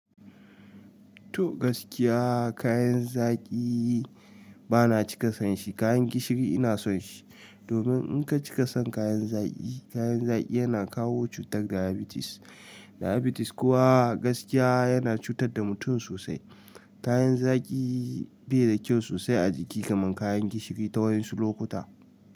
Tuh gaskiya kayan zaki bana cika son shi, kayan gishiri ina son shi. Domin in ka cikason kayan zaki, kayan zaki yana kawo cutar diabetes. Diabetes kuwa gaskiya yana cutar da mutum sosai. Kayan zaki bai da kyau sosai a jiki kamar kayan gishiri ta wayan su lokuta.